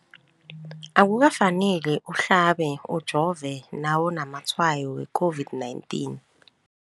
Akuka faneli uhlabe, ujove nawu namatshayo we-COVID-19.